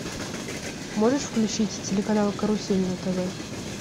можешь включить телеканал карусель на тв